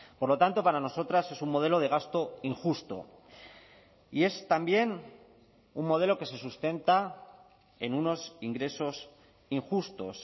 por lo tanto para nosotras es un modelo de gasto injusto y es también un modelo que se sustenta en unos ingresos injustos